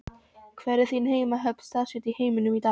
Hvar er þín heimahöfn staðsett í heiminum í dag?